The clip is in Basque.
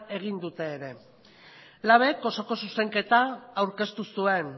egin dute ere labek osoko zuzenketa aurkeztu zuen